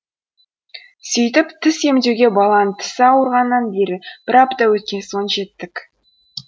сөйтіп тіс емдеуге баланың тісі ауырғаннан бері бір апта өткен соң жеттік